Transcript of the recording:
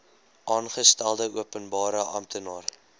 aangestelde openbare amptenaar